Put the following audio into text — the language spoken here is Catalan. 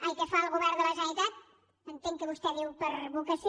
ai que fa el govern de la generalitat entenc que vostè diu per vocació